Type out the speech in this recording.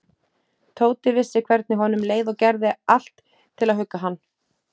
Tóti vissi hvernig honum leið og gerði allt til að hugga hann.